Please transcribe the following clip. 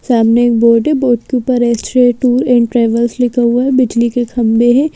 सामने एक बोर्ड है बोर्ड के ऊपर रेस्ट्रो टूर एंड ट्रेवल्स लिखा हुआ है बिजली के खंबे हैं।